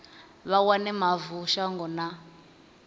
vha wane mavu shango na